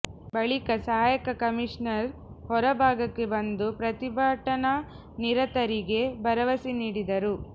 ಬಳಿಕ ಸಹಾಯಕ ಕಮಿಷನರ್ ಹೊರ ಭಾಗಕ್ಕೆ ಬಂದು ಪ್ರತಿಭಟನಾನಿರತರಿಗೆ ಭರವಸೆ ನೀಡಿದರು